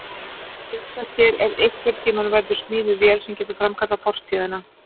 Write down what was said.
Hugsa sér ef einhvern tíma verður smíðuð vél sem getur framkallað fortíðina.